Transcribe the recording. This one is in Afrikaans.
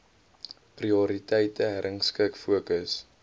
prioriteite herrangskik fokus